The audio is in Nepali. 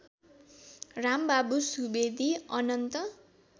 रामबाबु सुवेदी अनन्त